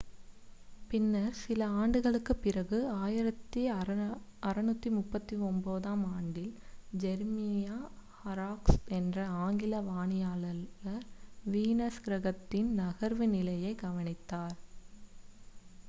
பின்னர் சில ஆண்டுகளுக்குப் பிறகு 1639-ஆம் ஆண்டில் ஜெரீமியா ஹாராக்ஸ் என்ற ஆங்கில வானியலாளர் வீனஸ் கிரகத்தின் நகர்வு நிலையைக் கவனித்தார்